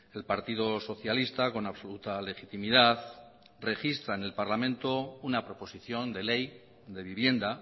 el partido socialista con absoluta legitimidad registra en el parlamento una proposición de ley de vivienda